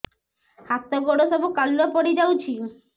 ହାତ ଗୋଡ ସବୁ କାଲୁଆ ପଡି ଯାଉଛି